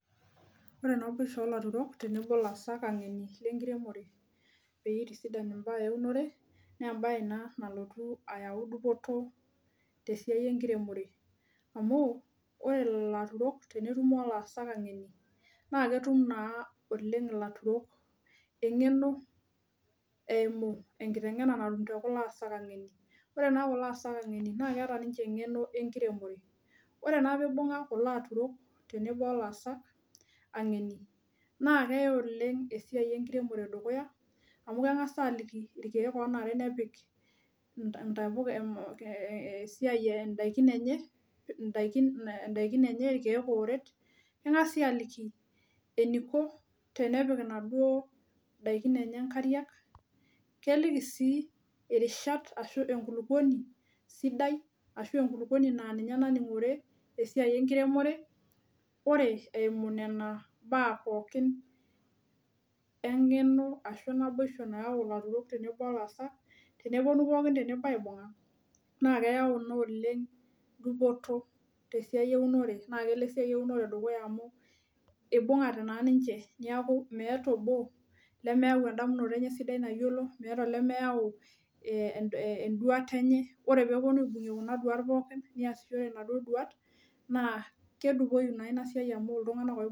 Ore naboisho oltaurok tenebo olaasak ang'eni lenkiremore peyie itisidan imbaa eunore nembae naa nalotu ayau dupoto tesiai enkiremore amu ore lelo aturok tenetumo olaasak ang'eni naa ketum naa oleng ilaturok eng'eno eimu enkiteng'ena natum te kulo aasak ang'eni ore naa kulo aasak ang'eni naa keeta ninche eng'eno enkiremore ore naa pibung'a kulo aturok tenebo olaasak ang'eni naa keya oleng esiai enkiremore dukuya amu keng'as aliki irkeek onare nepik inta intapuka eeh esiai endaikin enye indaikin enye irkeek ooret keng'asi aliki eniko tenepik inaduo daikin enye inkariak keliki sii irishat ashu enkulupuoni sidai ashu enkulupuoni naa ninye naning'ore esiai enkiremore ore eimu nena baa pookin eng'eno ashu naboisho nayau ilaturok tenebo olaasak teneponu pookin tenebo aibung'a naa keyau naa oleng dupoto tesiai eunore naa kelo esiai eunore dukuya amu ibung'ate naa ninche niaku meeta obo lemeyau endamunoto enye sidai nayiolo meeta olemeyau eh enduata enye ore peeponu aibung'ie kuna duat pookin niasishore inaduo duat naa kedupoi naa ina siai amu iltung'anak oi.